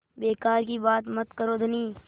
बेकार की बात मत करो धनी